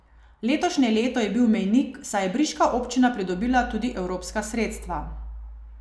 Letošnje leto je bil mejnik, saj je briška občina pridobila tudi evropska sredstva.